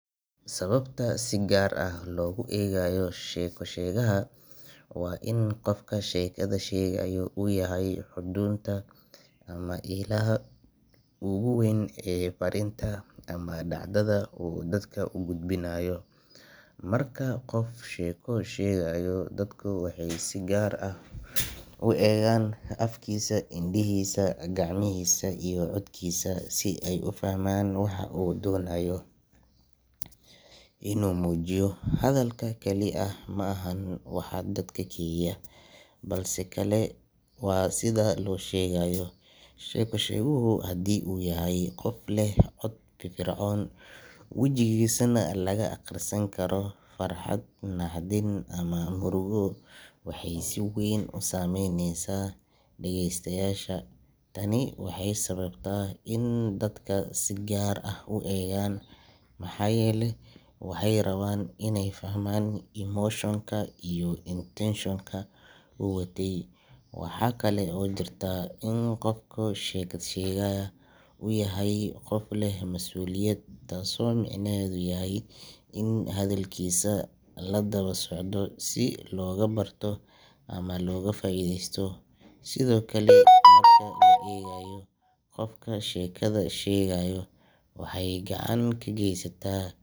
Sababta si gaar ah loogu eegayo sheeko-sheegaha waa in qofka sheekada sheegaya uu yahay xudunta ama ilaha ugu weyn ee fariinta ama dhacdada uu dadka u gudbinayo. Marka qof sheeko sheegayo, dadku waxay si gaar ah u eegaan afkiisa, indhihiisa, gacmihiisa iyo codkiisa si ay u fahmaan waxa uu doonayo inuu muujiyo. Hadalka kali ah ma ahan waxa dadka kiciya, balse sidoo kale waa sida loo sheegayo. Sheeko-sheeguhu haddii uu yahay qof leh cod firfircoon, wejigiisana laga akhrisan karo farxad, naxdin ama murugo, waxay si weyn u saameyneysaa dhageystayaasha. Tani waxay sababtaa in dadka si gaar ah u eegaan, maxaa yeelay waxay rabaan inay fahmaan emotion ka iyo intention ka uu watay. Waxa kale oo jirta in qofka sheekada sheegaya uu yahay qof leh masuuliyad, taas oo micnaheedu yahay in hadalkiisa la daba socdo si looga barto ama looga faa’iidaysto. Sidoo kale, marka la eegayo qofka sheekada sheegaya waxay gacan ka geysata.